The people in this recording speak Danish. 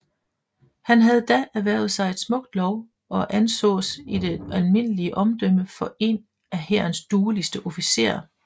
Han havde da erhvervet sig et smukt lov og ansås i det almindelige omdømme for en af Hærens dueligste officerer